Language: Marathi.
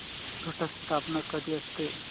घट स्थापना कधी असते